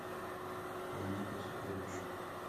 планета сокровищ